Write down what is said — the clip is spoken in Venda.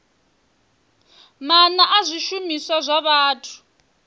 maana a zwishumiswa zwa vhathu